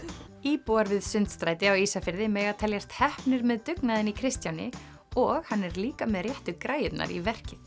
íbúar við Sundstræti á Ísafirði mega teljast heppnir með dugnaðinn í Kristjáni og hann er líka með réttu græjurnar í verkið